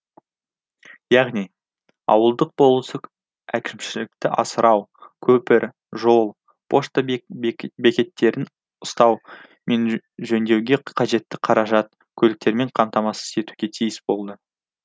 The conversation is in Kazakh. яғни ауылдық болыстық әкімшілікті асырау көпір жол пошта бекеттерін ұстау мен жөндеуге қажетті қаражат көліктермен қамтамасыз етуге тиіс болды